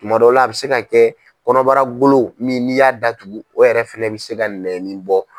kuma dɔw la a bi se ka kɛ kɔnɔbara golo min n'i y'a datugu o yɛrɛ fana bɛ se ka nɛnnin bɔ.